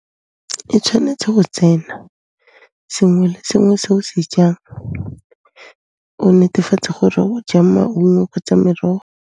E tshwanetse go tsena, sengwe le sengwe se o se jang, o netefatse gore o ja maungo kgotsa merogo.